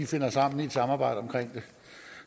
finder sammen i et samarbejde omkring det